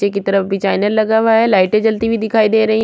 चे की तरफ भी डिज़ाइने लगा हुआ है लाइटे जलती हुई दिखाई दे रही --